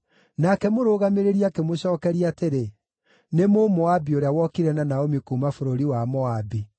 Nake mũrũgamĩrĩri akĩmũcookeria atĩrĩ, “Nĩ Mũmoabi ũrĩa wokire na Naomi kuuma bũrũri wa Moabi .